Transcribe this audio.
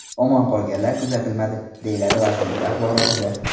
Omon qolganlar kuzatilmadi”, deyiladi vazirlik axborotida.